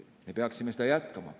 Me peaksime seda jätkama.